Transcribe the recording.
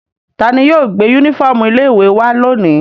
Ta ni yóò gbé únífọ́ọ́mù ilé-ìwé wá lónìí?